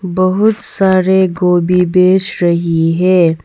बहुत सारे गोभी बेच रही है।